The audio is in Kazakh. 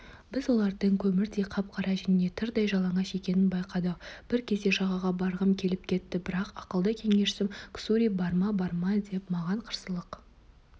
біз олардың көмірдей қап-қара және тырдай жалаңаш екенін байқадық бір кезде жағаға барғым келіп кетті бірақ ақылды кеңесшім ксури барма барма деп маған қарсылық